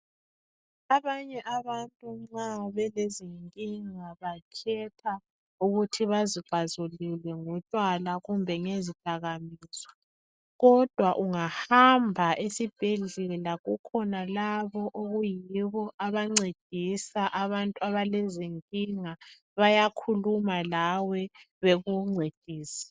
Abanye abantu nxa belenkinga bakhetha ukuthi bazixazulule ngotshwala kumbe ngezi dakamizwa kodwa ungahamba esibhedlela kukhona labo abancedisa abantu abalezinkinga bayakhuluma lawe bakufundise